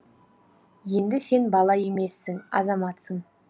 енді сен бала емессің азаматсың